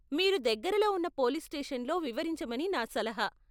మీరు దగ్గరలో ఉన్న పోలీస్ స్టేషన్లో వివరించమని నా సలహా.